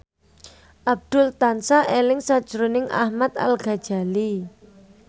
Abdul tansah eling sakjroning Ahmad Al Ghazali